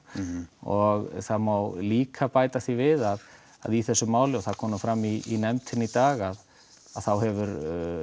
og það má líka bæta því við að að í þessu máli og það kom fram í nefndinni í dag þá hefur